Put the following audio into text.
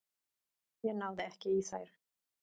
Ég náði ekki í þær.